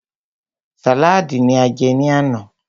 Sàlaadi ní a jẹ ní àná.